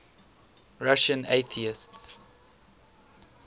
russian atheists